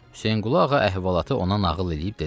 Hüseynqulu ağa əhvalatı ona nağıl eləyib dedi: